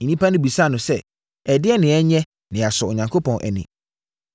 Nnipa no bisaa no sɛ, “Ɛdeɛn na yɛnyɛ na yɛasɔ Onyankopɔn ani?”